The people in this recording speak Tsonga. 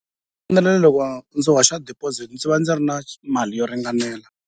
loko ndzi hoxa deposit ndzi va ndzi ri na mali yo ringanela.